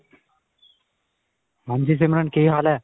ਹਾਂਜੀ ਸਿਮਰਨ ਕੀ ਹਾਲ ਹੈ?